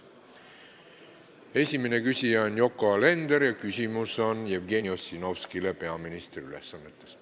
Esimene küsija on Yoko Alender ja küsimus on peaministri ülesannetes olevale Jevgeni Ossinovskile.